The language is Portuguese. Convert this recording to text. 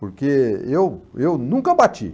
Porque eu eu nunca bati.